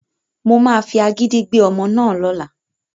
Mo máa fi agídí gbé ọmọ náà lọ́la